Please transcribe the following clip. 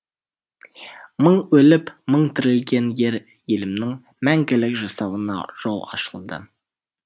мың өліп мың тірілген ер елімнің мәңгілік жасауына жол ашылды